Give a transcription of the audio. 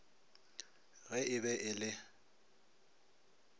ge e be e le